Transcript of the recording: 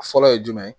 Fɔlɔ ye jumɛn ye